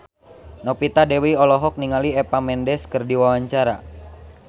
Novita Dewi olohok ningali Eva Mendes keur diwawancara